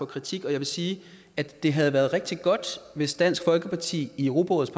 kritik jeg vil sige at det havde været rigtig godt hvis dansk folkeparti i europarådets